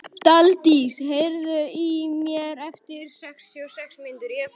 Daldís, heyrðu í mér eftir sextíu og sex mínútur.